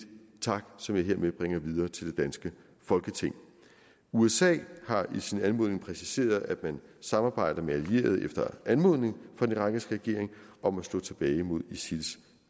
tak som jeg hermed bringer videre til det danske folketing usa har i sin anmodning præciseret at man samarbejder med allierede efter anmodning fra den irakiske regering om at slå tilbage mod isils